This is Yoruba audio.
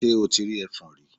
Ṣe o ti rí ẹfọ̀n rí?